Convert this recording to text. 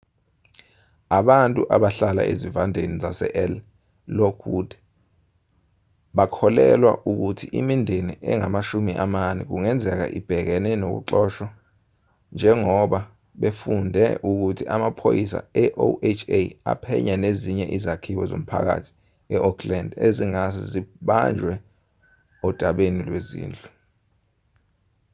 abantu abahlala ezivandeni zasel lockwood bakholelwa ukuthi imindeni engama 40 kungenzeka ibhekene nokuxoshwa njengoba befunde ukuthi amaphoyisa eoha aphenya nezinye izakhiwo zomphakathi eoakland ezingase zibanjwe odabeni lwezindlu